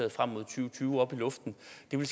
nu i